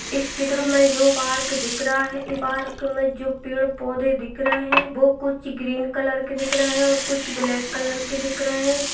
इस चित्र ये पार्क दिख रहा है इस पार्क में जो पेड़ पौधे दिख रहे हैं वो कुछ ग्रीन कलर के दिख रहे है और कुछ ब्लैक कलर के दिख रहे है।